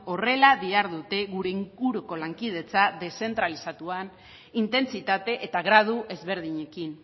horrela dihardute gure inguruko lankidetza deszentralizatuan intentsitate eta gradu ezberdinekin